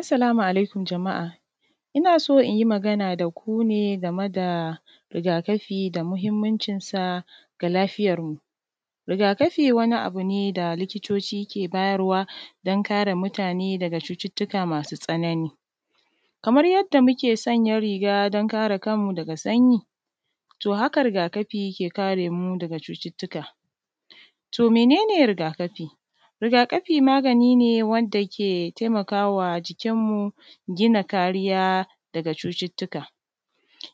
Assalamu alaikum jama’a ina so inyi magana daku ne game da rigakafi da muhimmancinsa ga lafiyarmu. Rigakafi wani abu ne da likitoci ke bayarwa don kare mutane daga cututuka masu tsanani. Kamar yanda muke sanya riga don kare kanmu daga sanyi, to haka rigakafi ke karemu daga cututuka. To mene ne rigakafi? Rigakafi magani ne wanda ke taimawa jikinmu gina kariya daga cututuka,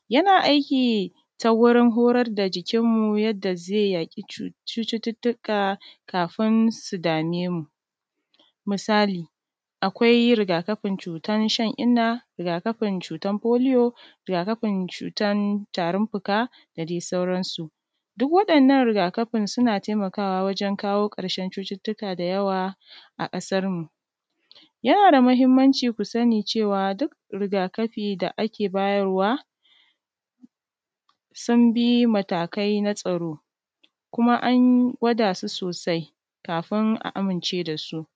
yana aiki ta wurin horar da jikinmu yadda ze yaki cututuka kafin su dame mu. Misali, Akwai rigakafin cutar shan inna, rigakafin cutar foliyo, rigakafin cutar tarin fuka, da dai sauransu. Duk wadannan rigakafin suna taimakawa wajen kawo ƙarshen cututuka da yawa a ƙasarmu. Yana da mahimmanci ku sani cewa duk rigakafi da ake bayarwa sun bi matakai na tsaro, kuma an gwadasu sosai kafin a amince dasu,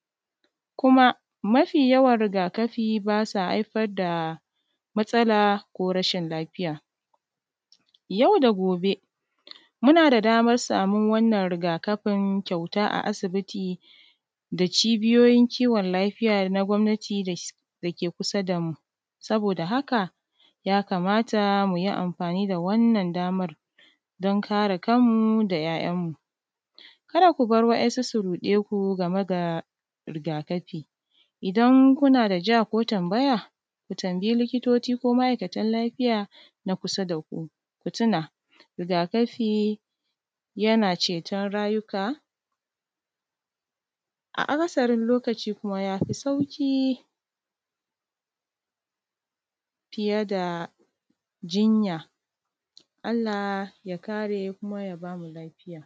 kuma mafi yawan rigakafi basa haifar da matsala ko rashin lafiya. Yau da gobe muna da daman samun wannan rigakafin kyauta a asibiti da cibiyoyin kiwon lafiya na gomnati dake kusa damu. Saboda haka ya kamata muyi amfani da wannan damar don kare kanmu da ‘ya’yanmu. Kada kubar wa’yansu su ruɗeku game ga rigakafi, idan kuna da ka ko tambaya ku tambayi likitoci ko ma’aikanta lafiya na kusa daku. Ku tuna rigakafi yana ceton rayika a akasari lokaci kuma yafi sauƙi fiye da jinya. Allah ya kare kuma ya bamu lafiya.